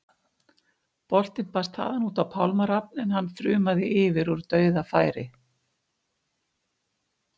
Boltinn barst þaðan út á Pálma Rafn en hann þrumaði yfir úr dauðafæri.